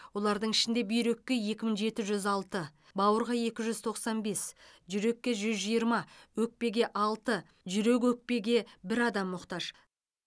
олардың ішінде бүйрекке екі мың жеті жүз алты бауырға екі жүз тоқсан бес жүрекке жүз жиырма өкпеге алты жүрек өкпеге бір адам мұқтаж